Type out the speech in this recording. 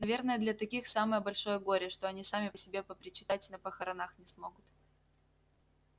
наверное для таких самое большое горе что они сами по себе попричитать на похоронах не смогут